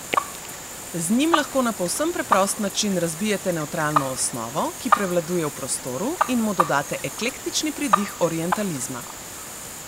Z njim lahko na povsem preprost način razbijete nevtralno osnovo, ki prevladuje v prostoru, in mu dodate eklektični pridih orientalizma.